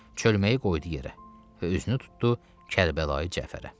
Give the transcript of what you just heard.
Çölməyi qoydu yerə və üzünü tutdu Kərbəlayı Cəfərə.